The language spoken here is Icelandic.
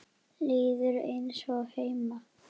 Líður eins og heima.